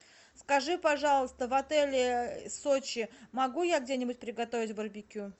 скажи пожалуйста в отеле сочи могу я где нибудь приготовить барбекю